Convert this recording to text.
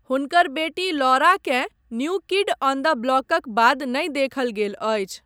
हुनकर बेटी लौराकेँ 'न्यू किड ऑन द ब्लॉक'क बाद नहि देखल गेल अछि।